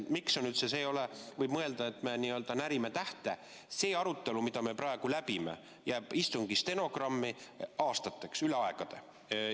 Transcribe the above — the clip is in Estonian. Võib ju küll mõelda, et me praegu n-ö närime tähte, aga see arutelu, mille me läbime, jääb istungi stenogrammi aastateks, üle aegade.